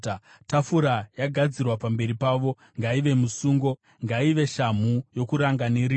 Tafura yagadzirwa pamberi pavo ngaive musungo; ngaive shamhu yokuranga neriva.